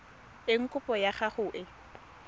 eng kopo ya gago e